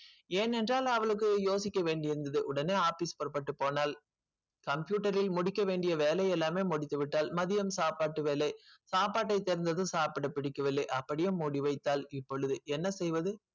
ஏன் என்றால் அவளுக்கு யோசிக்க வேண்டி இருந்தது உடனே office புறப்பட்டு போனால் computer இல் முடிக்க வேண்டிய வேலை எல்லாம் முடித்து விட்டால் மதியம் சாப்பாட்டு வேலை சாப்பாட்டை திறந்ததும் சாப்பிட புடிக்கவில்லை அப்படியே மூடி வைத்தால் இப்பொழுது என்ன செய்வது.